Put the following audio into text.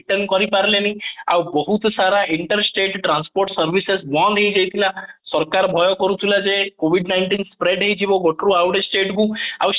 କରିପାରିଲେଣି ଆଉ ବହୁତ ସାରା interstate transport ସବୁ ବନ୍ଦ ହେଇଯାଇଥିଲା ସରକାର ଭୟ କରୁଥିଲେ ଯେ covid nineteen Spread ହେଇଯିବ ଗୋଟେ ରୁ ଆଉ ଗୋଟେ state କୁ